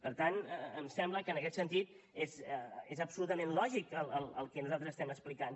per tant em sembla que en aquest sentit és absolutament lògic el que nosaltres estem explicant